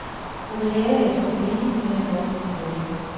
Hun ville have, at jeg skulle blive, men jeg måtte tilbage.